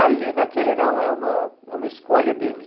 Ali naquele não, é uma é uma escolha dele.